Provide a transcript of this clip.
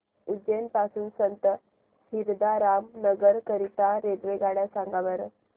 उज्जैन पासून संत हिरदाराम नगर करीता रेल्वेगाड्या सांगा बरं